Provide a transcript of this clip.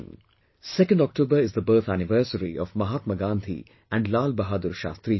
2nd October is the birth anniversary of Mahatma Gandhi and Lal Bahadur Shastri Ji